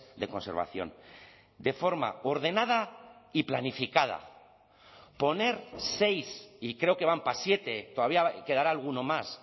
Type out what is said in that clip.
de conservación de forma ordenada y planificada poner seis y creo que van para siete todavía quedará alguno más